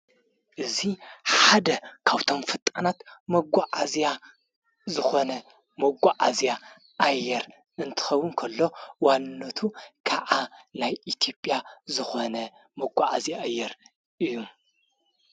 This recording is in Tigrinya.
እዙይ ሓደ ካብቶም ፈጣናት መጓዓዚያ ዝኾነ መጓዓዚያ ኣየር እንትኸውን እንከሎ ዋንነቱ ከዓ ናይ ኢቲዮጵያ ዝኾነ መጐዓዐዚ እየር እዩ።